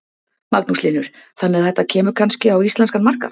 Magnús Hlynur: Þannig að þetta kemur kannski á íslenskan markað?